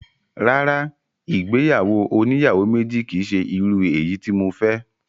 Rárá, ìgbéyàwó oníyàwó méjì kìí ṣe irú eyi tí mo fẹ́